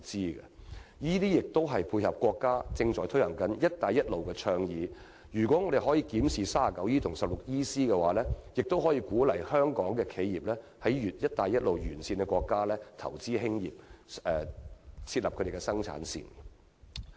這樣做亦是為了配合國家正在推動的"一帶一路"倡議，如果政府檢視《稅務條例》第 39E 條及第 16EC 條，將有助鼓勵香港企業在"一帶一路"沿線國家投資設立生產線。